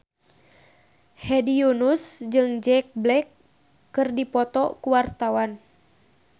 Hedi Yunus jeung Jack Black keur dipoto ku wartawan